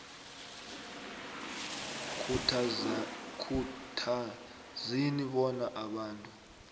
khuthazeni bona abantu